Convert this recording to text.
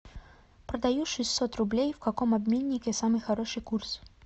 продаю шестьсот рублей в каком обменнике самый хороший курс